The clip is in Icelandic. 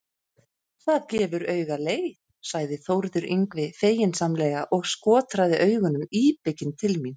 Það gefur auga leið, sagði Þórður Yngvi feginsamlega og skotraði augunum íbygginn til mín.